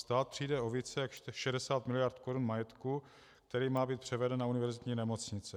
Stát přijde o více jak 60 miliard korun majetku, který má být převeden na univerzitní nemocnice.